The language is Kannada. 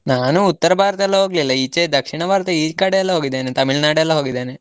ನಾನು ಉತ್ತರ ಭಾರತ ಎಲ್ಲ ಹೋಗ್ಲಿಲ್ಲ, ಈಚೆ ದಕ್ಷಿಣ ಭಾರತ ಈ ಕಡೆ ಎಲ್ಲ ಹೋಗಿದ್ದೇನೆ, ತಮಿಳುನಾಡೆಲ್ಲ ಹೋಗಿದ್ದೇನೆ.